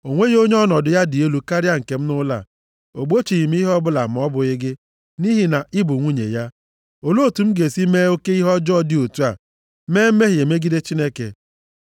O nweghị onye ọnọdụ ya dị elu karịa nke m nʼụlọ a. O gbochighị m ihe ọbụla ma ọ bụghị gị, nʼihi na ị bụ nwunye ya. Olee otu m ga-esi mee oke ihe ọjọọ dị otu a, mee mmehie megide Chineke.”